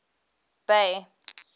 bay